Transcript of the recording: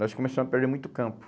Nós começamos a perder muito campo.